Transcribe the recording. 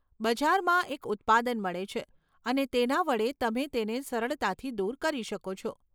બજારમાં એક ઉત્પાદન મળે છે, અને તેના વડે તમે તેને સરળતાથી દૂર કરી શકો છો.